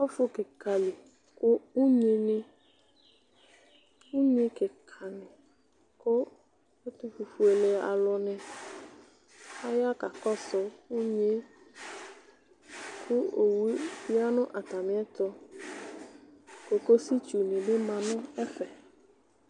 Ɔfʋ kika li kʋ unyini kika aya kakɔsʋ unyi yɛ kʋ owʋ yanʋ atami ɛtʋ kokositsʋ ni bi manʋ ɛfɛ